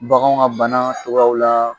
Baganw ka bana tɔgɔyaw la